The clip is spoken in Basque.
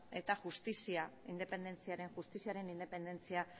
eta justiziaren independentzia